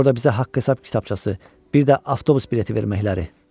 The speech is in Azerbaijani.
Orda bizə haqq-hesab kitabçası, bir də avtobus bileti verməkləri?